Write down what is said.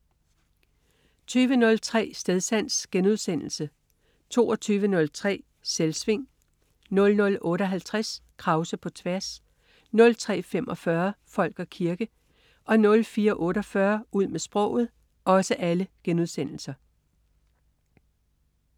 20.03 Stedsans* 22.03 Selvsving* 00.58 Krause på tværs* 03.45 Folk og kirke* 04.48 Ud med sproget*